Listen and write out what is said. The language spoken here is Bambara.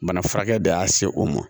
Bana furakɛ de y'a se o ma